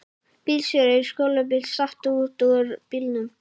Bílstjóri skólabíls datt út úr bílnum